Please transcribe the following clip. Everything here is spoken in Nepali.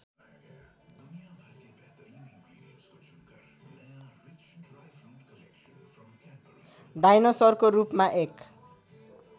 डायनोसरको रूपमा एक